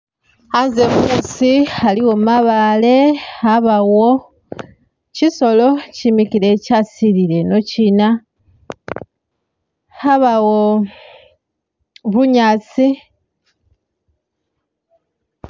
Anze musi aliwo mabale abawo kyiisolo kyimikhile kyasilile'eno kyiina abawo bunyasi